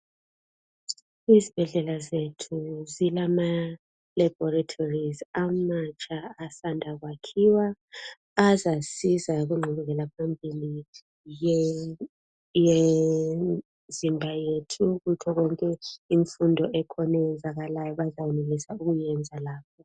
Izibhedlela zethu zilamalabhorithorizi amatsha asanda kwakhiwa ezasiza kungqubekela phambili yemzimba yethu kukho konke imfundo ekhona eyenzakalayo bazayenelisa ukuyenza lapha.